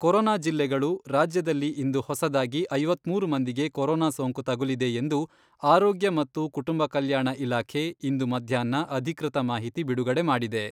Corona ಜಿಲ್ಲೆಗಳು, ರಾಜ್ಯದಲ್ಲಿ ಇಂದು ಹೊಸದಾಗಿ ಐವತ್ಮೂರು ಮಂದಿಗೆ ಕೊರೊನಾ ಸೋಂಕು ತಗುಲಿದೆ ಎಂದು ಆರೋಗ್ಯ ಮತ್ತು ಕುಟುಂಬ ಕಲ್ಯಾಣ ಇಲಾಖೆ ಇಂದು ಮಧ್ಯಾಹ್ನ ಅಧಿಕೃತ ಮಾಹಿತಿ ಬಿಡುಗಡೆ ಮಾಡಿದೆ.